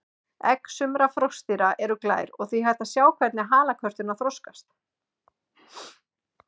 Egg sumra froskdýra eru glær og því hægt að sjá hvernig halakörturnar þroskast.